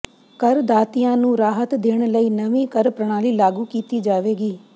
ਕਰ ਦਾਤਿਆਂ ਨੂੰ ਰਾਹਤ ਦੇਣ ਲਈ ਨਵੀਂ ਕਰ ਪ੍ਰਣਾਲੀ ਲਾਗੂ ਕੀਤੀ ਜਾਵੇਗੀ